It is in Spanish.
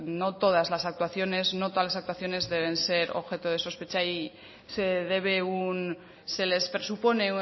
no todas las actuaciones no todas las actuaciones deben ser objeto de sospecha y se debe se les presupone